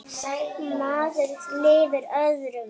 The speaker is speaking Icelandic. Maður lifir öðrum.